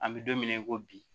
An bɛ don min na i ko bi